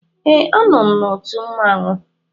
Ee, anọ m n'otu mmanwụ.